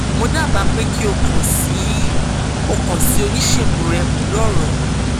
mo daba pe ki o kan si o kan si onisegun rẹ pẹlu ọrọ yii